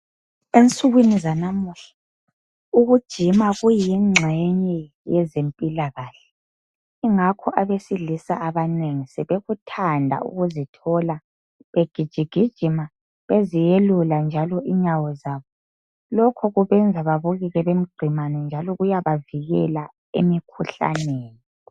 Ensukwini zanamuhla ukujima kuyingxenye yezempilakahle ingakho abesilisa abanengi sebekuthanda ukuzithola begijigijima beziyelula njalo inyawo zabo. Lokhu kubenza babukeke bemgqemane njalo kuyabavikela emikhuhlaneni.